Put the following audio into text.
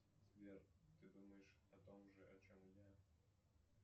сбер ты думаешь о том же о чем и я